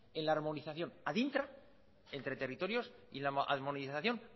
en la armonización adentra entre territorios y armonización